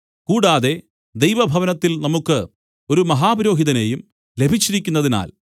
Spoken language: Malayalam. കൂടാതെ ദൈവഭവനത്തിൽ നമുക്ക് ഒരു മഹാപുരോഹിതനേയും ലഭിച്ചിരിക്കുന്നതിനാൽ